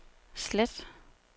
slet